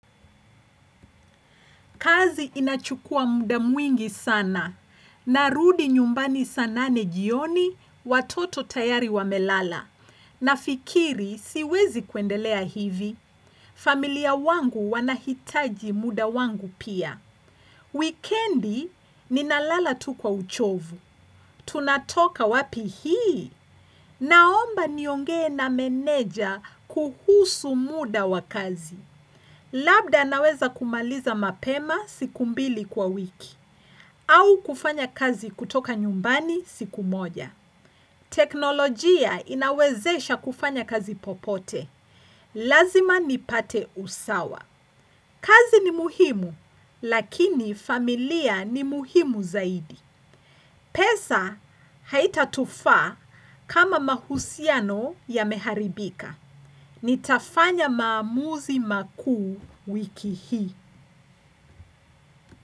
Kazi inachukua muda mwingi sana. Narudi nyumbani sana nane jioni watoto tayari wamelala. Nafikiri siwezi kuendelea hivi. Familia wangu wanahitaji muda wangu pia. Wikendi ninalala tu kwa uchovu. Tunatoka wapi hii. Naomba niongee na meneja kuhusu muda wa kazi. Labda naweza kumaliza mapema siku mbili kwa wiki. Au kufanya kazi kutoka nyumbani siku moja. Teknolojia inawezesha kufanya kazi popote. Lazima nipate usawa. Kazi ni muhimu, lakini familia ni muhimu zaidi. Pesa haitatufaa kama mahusiano yameharibika. Nitafanya maamuzi makuu wiki hii.